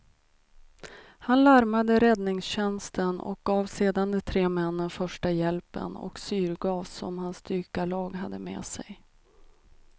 Han larmade räddningstjänsten och gav sedan de tre männen första hjälpen och syrgas som hans dykarlag hade med sig.